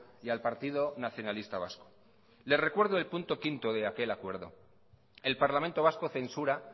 y al partido nacionalista vasco le recuerdo el punto quinto de aquel acuerdo el parlamento vasco censura